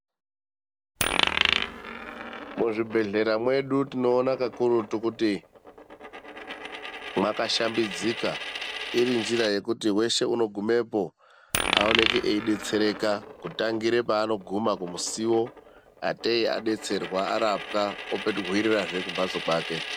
Muzvibhedhlera mwedu tinoona kakurutu kuti makashambidzika, irinjira yekuti weshe unogumepo aoneke eibetsereka kutangira paanoguma kumusuwo atee abetserwa arapwa ohwirirazve kumhatso kwake.